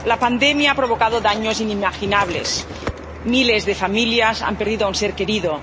La pandemia ha provocado daños inimaginables. Miles de familias han perdido a un ser querido.